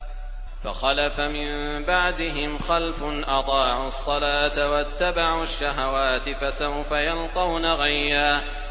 ۞ فَخَلَفَ مِن بَعْدِهِمْ خَلْفٌ أَضَاعُوا الصَّلَاةَ وَاتَّبَعُوا الشَّهَوَاتِ ۖ فَسَوْفَ يَلْقَوْنَ غَيًّا